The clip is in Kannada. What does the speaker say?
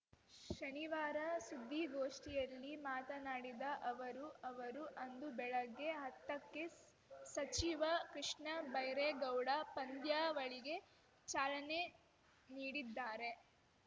ಶನಿವಾರ ಸುದ್ದಿಗೋಷ್ಠಿಯಲ್ಲಿ ಮಾತನಾಡಿದ ಅವರು ಅವರು ಅಂದು ಬೆಳಗ್ಗೆ ಹತ್ತಕ್ಕೆ ಸಚಿವ ಕೃಷ್ಣಬೈರೇಗೌಡ ಪಂದ್ಯಾವಳಿಗೆ ಚಾಲನೆ ನೀಡಿದ್ದಾರೆ